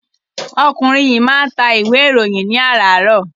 Ọkùnrin yìí máa ń ta ìwé-ìròyìn ní àràárọ̀.